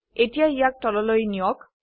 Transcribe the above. এতিয়া ইয়াক তললৈ নিয়ক